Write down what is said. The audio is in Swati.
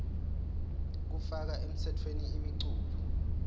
kufaka emtsetfweni imiculu